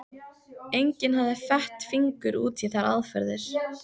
Enginn hafði fett fingur út í þær aðferðir.